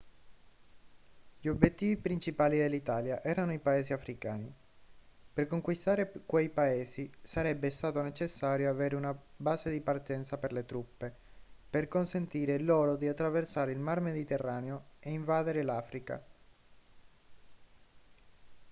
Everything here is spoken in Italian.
gli obiettivi principali dell'italia erano i paesi africani per conquistare quei paesi sarebbe stato necessario avere una base di partenza per le truppe per consentire loro di attraversare il mar mediterraneo e invadere l'africa